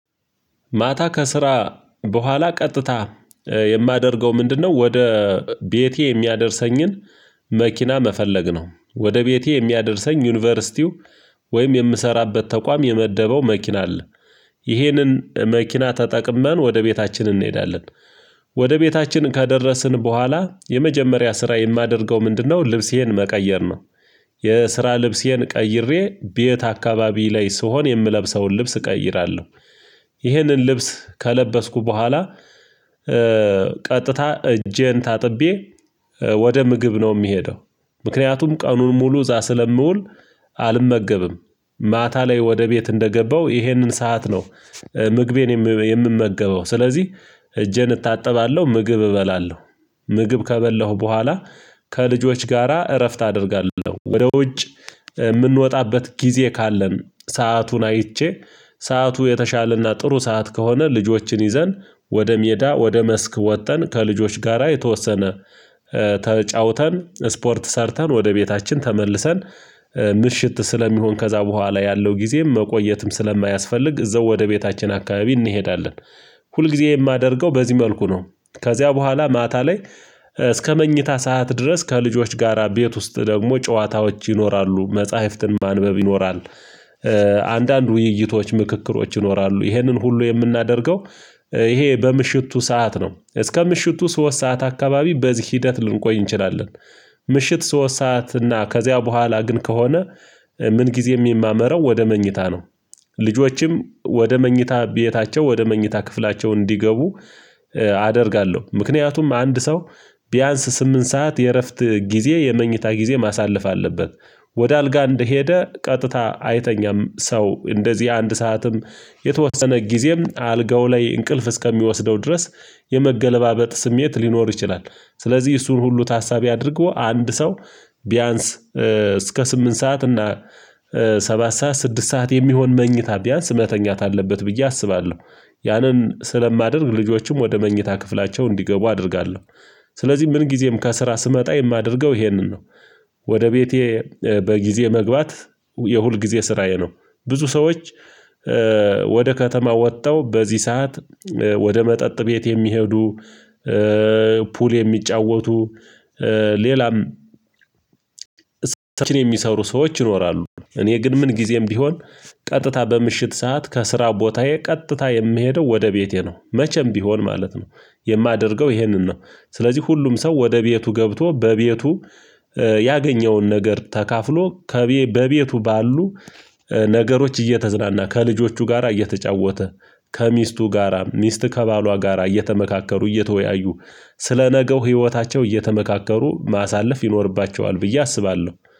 ማታ ከስራ በኋላ ቀጥታ የማደርገው ምንድነው? ወደ ቤቴ የሚያደርሰኝን መኪና መፈለግ ነው። ወደ ቤቴ የሚያደርሰኝ ዩኒቨርሲቲው ወይም የምሰራበት ተቋም የመደበው መኪና አለ። ይሄንን መኪና ተጠቅመን ወደ ቤታችን እንሄዳለን። ወደ ቤታችን ከደረስን በኋላ የመጀመሪያ ስራ የማደርገው ምንድነው? ልብሴን መቀየር ነው። የስራ ልብሴን ቀይሬ ቤት አካባቢ ላይ ስሆን የምለብሰውን ልብስ እቀይራለሁ። ይህንን ልብስ ከለበስኩ በኋላ ቀጥታ እጄን ታጥቤ ወደ ምግብ ነው የሚሄደው ምክንያቱም ቀኑን ሙሉ እዛ ስለምውል አልመገብም። ማታ ላይ ወደ ቤት እንደገባው ይሄንን ሰዓት ነው። ምግቤን የምመገበው ስለዚህ እጄን እታጠባለሁ ምግብ እበላለሁ። ምግብ ከበላሁ በኋላ ከልጆች ጋራ እረፍት አደርጋለሁ። ወደ ውጭ የምንወጣበት ጊዜ ካለን ሰአቱን አይቼ ሰዓቱ የተሻለና ጥሩ ሰዓት ከሆነ ልጆችን ይዘን ወደ ሜዳ ወደ መስክ ወጥተን ከልጆች ጋራ የተወሰነ ተጫውተን ስፖርት ሰርተን ወደ ቤታችን ተመልሰን ምሽት ስለሚሆን ከዛ በኋላ ያለው ጊዜም መቆየትም ስለማያስፈልግ እዛው ወደ ቤታችን አካባቢ እንሄዳለን። ሁልጊዜ የማደርገው በዚህ መልኩ ነው። ከዚያ በኋላ ማታ ላይ እስከ መኝታ ሰዓት ድረስ ከልጆች ጋራ ቤት ውስጥ ደግሞ ጨዋታዎች ይኖራሉ መጽሐፍትን ማንበብ ይኖራል። አንዳንድ ውይይቶች ምክክሮች ይኖራሉ ይህንን ሁሉ የምናደርገው ይሄ በምሽቱ ሰዓት ነው እስከ ምሽቱ ሶስት ሰዓት አካባቢ በዚህ ሂደት ልንቆይ እንችላለን። ምሽት ሶስት ሰዓት እና ከዚያ በኋላ ግን ከሆነ ምን ጊዜም የማመረው ወደ መኝታ ነው። ልጆችም ወደ መኝታ ቤታቸው ወደ መኝታ ክፍላቸው እንዲገቡ አደርጋለሁ ምክንያቱም አንድ ሰው ቢያንስ ስምንት ሰዓት የእረፍት ጊዜ የመኝታ ጊዜ ማሳለፍ አለበት። ወደ አልጋ እንደሄደ ቀጥታ አይተኛም ሰው እንደዚህ አንድ ሰዓትም የተወሰነ ጊዜም አልጋው ላይ እንቅልፍ እስከሚወስደው ድረስ የመገለባበጥ ስሜት ሊኖር ይችላል። ስለዚህ እሱን ሁሉ ታሳቢ አድርጎ አንድ ሰው ቢያንስ እስከ ስምንት ሰዓት እና ሰባት ሰዓት ስድስት ሰዓት የሚሆን መኝታ ቢያንስ መተኛት አለበት ብዬ አስባለሁ። ያንን ስለማደርግ ልጆችም ወደ መኝታ ክፍላቸው እንዲገቡ አደርጋለሁ። ስለዚህ ምን ጊዜም ከስራ ስመጣ የማደርገው ይሄንን ነው። ወደ ቤቴ በጊዜ መግባት የሁልጊዜ ስራዬ ነው። ብዙ ሰዎች ወደ ከተማው ወጥተው በዚህ ሰዓት ወደ መጠጥ ቤት የሚሄዱ ፑል የሚጫወቱ ሌላም ስራዎችን የሚሰሩ ሰዎች ይኖራሉ እኔ ግን ምን ጊዜም ቢሆን ቀጥታ በምሽት ሰዓት ከስራው ቦታዬ ቀጥታ የምሄደው ወደ ቤቴ ነው መቼም ቢሆን ማለት ነው። የማደርገው ይሄንን ነው። ስለዚህ ሁሉም ሰው ወደ ቤቱ ገብቶ በቤቱ ያገኘውን ነገር ተካፍሎ ከቤ በቤቱ ባሉ ነገሮች እየተዝናና ከልጆቹ ጋራ እየተጫወተ ከሚስቱ ጋራም ሚስት ከባሏ ጋራ እየተመካከሩ እየተወያዩ ስለ ነገው ህይወታቸው እየተመካከሩ ማሳለፍ ይኖርባቸዋል ብዬ አስባለሁ።